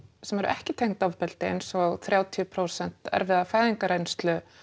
sem eru ekki tengd ofbeldi eins og þrjátíu prósent erfiða fæðingarreynslu